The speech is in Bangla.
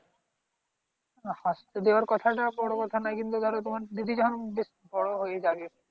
আসতে দেওয়ার কথাটা বড় কথা নয়। কিন্তু, ধর তোমার দিদি যখন বেশ বড় হয়ে যাবে।